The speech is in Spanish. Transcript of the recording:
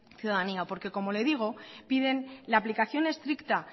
ciudadanía porque como le digo piden la aplicación estricta